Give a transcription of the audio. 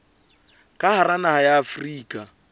ka hara naha ya afrika